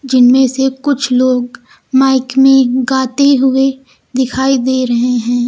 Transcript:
जिनमें से कुछ लोग माइक में गाते हुए दिखाई दे रहे हैं।